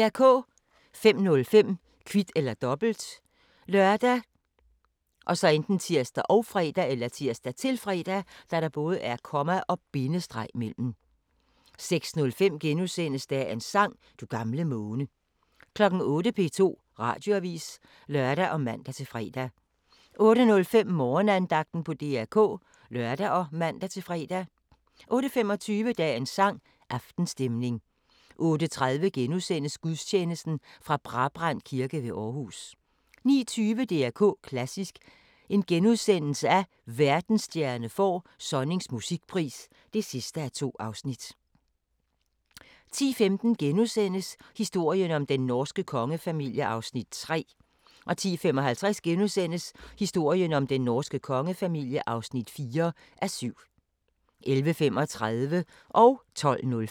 05:05: Kvit eller Dobbelt ( lør, tir, -fre) 06:05: Dagens sang: Du gamle måne * 08:00: P2 Radioavis (lør og man-fre) 08:05: Morgenandagten på DR K (lør og man-fre) 08:25: Dagens sang: Aftenstemning 08:30: Gudstjeneste fra Brabrand Kirke ved Aarhus * 09:20: DR K Klassisk: Verdensstjerne får Sonnings musikpris (2:2)* 10:15: Historien om den norske kongefamilie (3:7)* 10:55: Historien om den norske kongefamilie (4:7)* 11:35: Så gIKK